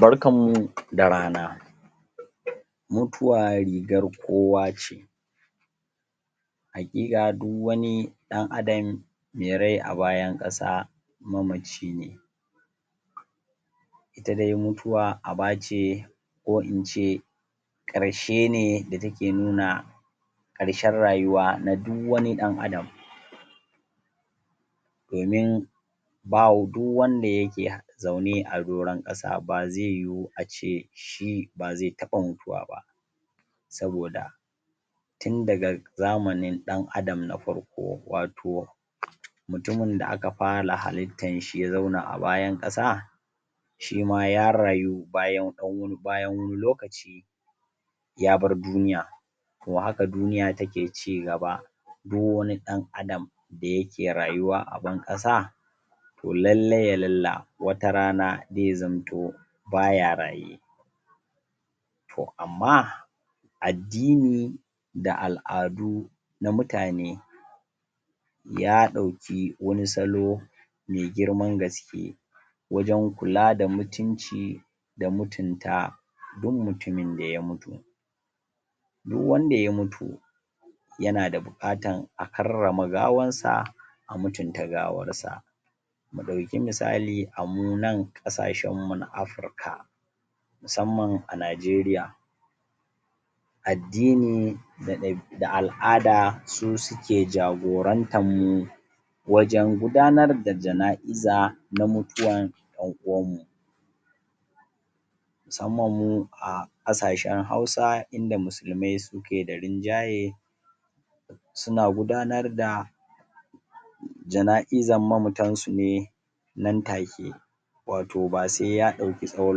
barkan mu da rana mutuwa rigar kowa ce haƙiƙa du wani ɗan adam mai rai a bayan ƙasa mamace ne ita dai mutuwa abace ko ince ƙarshe ne da take nuna ƙarshen rayuwa na du wani ɗan adam domin du wanda yake zaune a duran ƙasa ba zai yuwu ace shi ba zai taɓa mutuwa ba saboda tun daga zamanin ɗan adam na farko wato mutumun da aka fara halittan shi ya zauna a bayan ƙasa shima ya rayu bayan wani lokaci yabar duniya to haka duniya take cigaba du wani ɗan adam da yake rayuwa a ban ƙasa to lallai yalalla wata rana zai zamto baya raye to amma addini da al'adu na mutane ya ɗauke wani salo me girman gaske wajan kula da mutunci da mutunta du mutumin da ya mutu du wanda ya mutu yana da buƙatan a karrama gawansa a mutunta gawarsa mu ɗauke musali amunan ƙasashan mu na africa musamman a najeria addini da al'ada su suke jagorantan mu wajan gudanar da jana'iza na mutuwan ƴan'uwanmu musamman mu a ƙasashan hausa inda musulmai suke da rinjaye suna gudanar da jana'izan mamatansu ne nan take wato ba sai ya ɗauki tsawan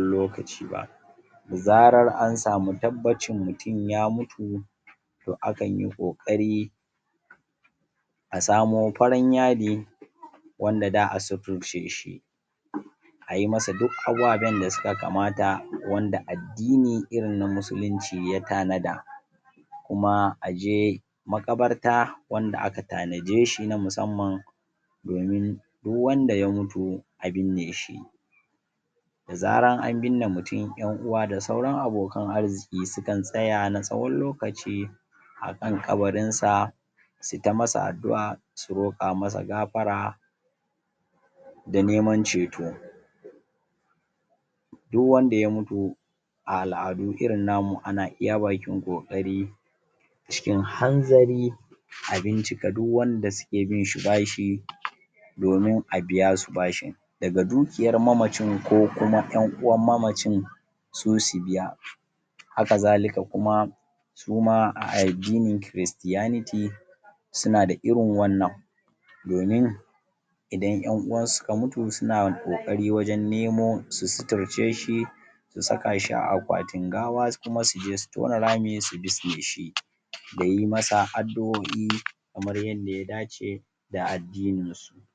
lokaci ba da zarar ansamu tabbacin mutun ya mautu to akanyi ƙoƙari a samu farin yadi wanda za a sitirceshi ai masu duk abaɓin da suka kamata wanda addini irin na musulinci ya tana da kuma aje maƙabarta wanda aka tana deshi na musamman domin du wanda ya mutu a binne shi da zaran an binne mutun ƴan'uwa da sauran abokan arziki sukan tsaya na tsawan lokaci akan ƙabarinsa su ta masa addu'a su roƙa masa gafara da neman ceto du wanda ya mutu a al'adu irin namu ana iya bakin ƙoƙari cikin hanzari a bincika du wanda suke binshi bashi domin a biyasu bashin daga dukiyar mamacin ko kuma ƴan uwan mamacin su su biya haka zalika kuma suma a addinin christianity suna da irin wannan idan ƴan'uwansu suka mutu suna ƙoƙarin wajan nemo su suturce shi su sakashi a aƙwatin gawa kuma suje su tona rami su bizneshi da yi masa addu'oi kamar yadda ya dace da addininshi